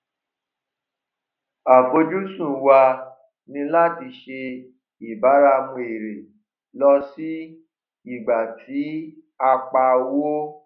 àfojúsùn wa ní láti ṣe ìbáramu èrè lọ sí ìgbà tí a pa owó